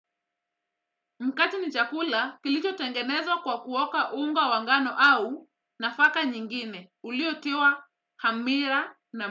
Mkate ni chakula kilicho tengenezwa kwa kuoka unga wa ngano au nafaka nyingine uliotiwa hamira na.